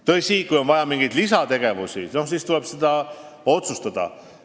Tõsi, kui on vaja mingeid lisategevusi, siis tuleb otsus teha.